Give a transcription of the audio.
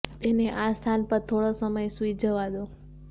તેને આ સ્થાન પર થોડો સમય સૂઈ જવા દો